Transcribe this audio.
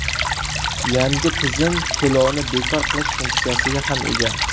Yangi tizim to‘lovni bekor qilish funksiyasiga ham ega.